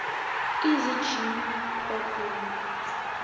easy gym programs